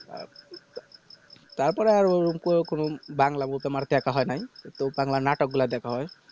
তারপরে তো বাংলা নাটক গুলো দেখা হয়